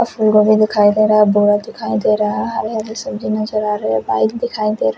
of हमको भी दिखाई दे रहा बहोत दिखाई दे रहा है हरे हरे सब्जी नजर आ रही है पाइप दिखाई दे रहा --